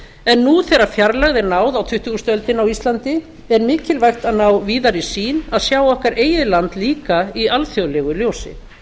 en nú þegar fjarlægð er náð á tuttugustu öldina á íslandi er mikilvægt að ná víðari sýn að sjá okkar eigið land líka í alþjóðlegu ljósi